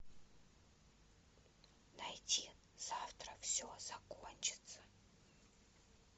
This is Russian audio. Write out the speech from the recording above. найти завтра все закончится